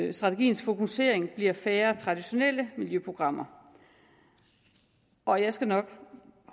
i strategiens fokusering bliver færre traditionelle miljøprogrammer og jeg skal nok